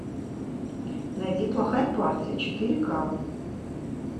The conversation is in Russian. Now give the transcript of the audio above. найди плохая партия четыре ка